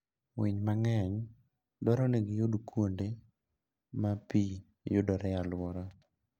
Winy mang'eny dwaro nigi yud kuonde ma pi yudoree e aluora.